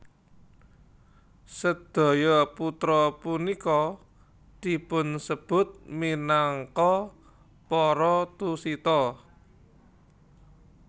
Sedaya putra punika dipunsebut minangka para Tusita